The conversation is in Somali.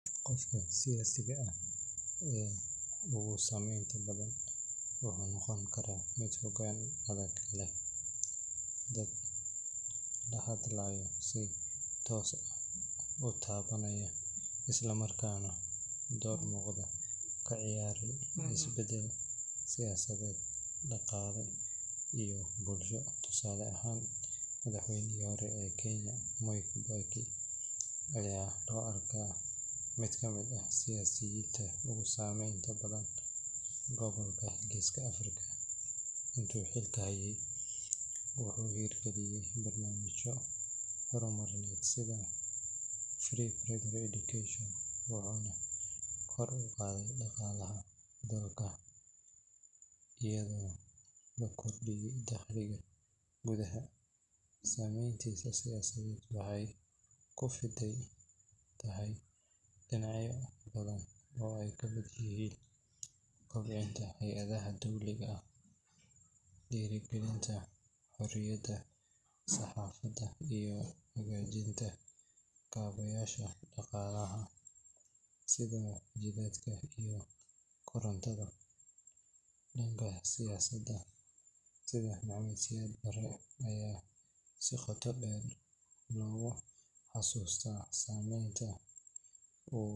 Qofka siyaasiga ah ee ugu saameynta badan wuxuu noqon karaa mid hoggaan adag leh, dad la hadlayo si toos ah u taabanaya, isla markaana door muuqda ka ciyaaray isbeddel siyaasadeed, dhaqaale iyo bulsho. Tusaale ahaan, madaxweynihii hore ee Kenya Mwai Kibaki ayaa loo arkaa mid ka mid ah siyaasiyiinta ugu saameynta badan gobolka Geeska Afrika. Intii uu xilka hayay, wuxuu hirgeliyay barnaamijyo horumarineed sida free primary education, wuxuuna kor u qaaday dhaqaalaha dalka iyadoo la kordhiyay dakhliga gudaha. Saameyntiisa siyaasadeed waxay ku fidsan tahay dhinacyo badan oo ay ka mid yihiin kobcinta hay’adaha dowladda, dhiirrigelinta xoriyadda saxaafadda, iyo hagaajinta kaabayaasha dhaqaalaha sida jidadka iyo korontada. Dhanka siyaasiyaal sida Maxamed Siyaad Barre ayaa si qoto dheer loogu xasuustaa saameynta uu ku yeeshay